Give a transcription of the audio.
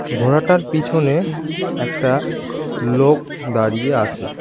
ঘোড়াটার পিছনে একটা লোক দাড়িয়ে আছে।